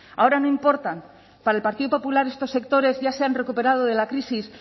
ahora no importan para el partido popular estos sectores ya se han recuperado de la crisis